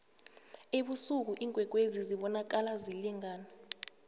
ebusuku iinkwekwezi zibonakala zilingana